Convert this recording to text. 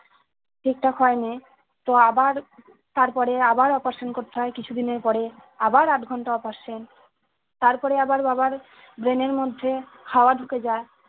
ঠিকঠাক হয়নি তো আবার তারপরে আবার operation করতে হয় কিছুদিনের পরে আবার আট ঘন্টা operation তারপরে আবার বাবার brain এর মধ্যে হওয়া ঢুকে যায়